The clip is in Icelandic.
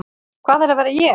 Hvað er að vera ég?